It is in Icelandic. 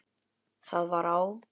Það var á